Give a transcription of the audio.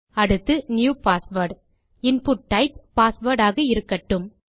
அடுத்து new password input type password ஆக இருக்கட்டும்